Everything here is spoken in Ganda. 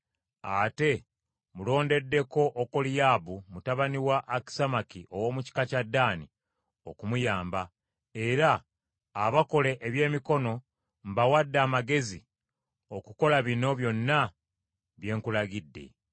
Ate mmulondeddeko Okoliyaabu mutabani wa Akisamaki, ow’omu kika kya Ddaani, okumuyamba. “Era abakugu abakola ebintu byonna ebya buli ngeri, mbawadde amagezi okukola bino byonna bye nkulagidde: